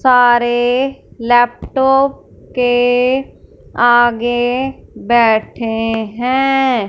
सारे लैपटॉप के आगे बैठे हैं।